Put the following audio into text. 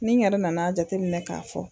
Ni n yɛrɛ nana a jateminɛ k'a fɔ.